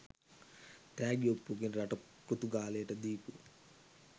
තෑගි ඔප්පුවකින් රට පෘතුගාලයට දීපු